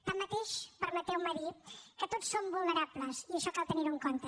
tanmateix permeteu me dir que tots som vulnerables i això cal tenir ho en compte